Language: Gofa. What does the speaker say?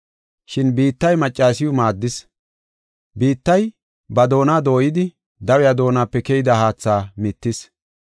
Shin biittay maccasiw maaddis; biittay ba doona dooyidi dawiya doonape keyida haatha mittis.